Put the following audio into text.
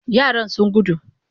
Yaran sun gudu.